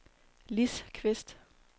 Lis Kvist